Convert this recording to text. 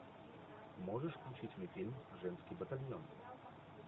можешь включить мне фильм женский батальон